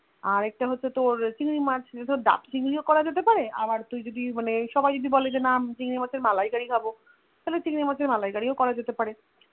আর একটা হচ্ছে তোর চিংড়ি মাছ যে ধরে ডাভ চিংড়িও করা যেতে পারে আর সবাই যদি বলে যে না চিংড়ি মাছের মালাই Curry খাবো তাহলে চিংড়ি মাছের মালাই Curry ও করা যেতে পারে